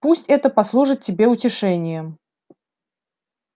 пусть это послужит тебе утешением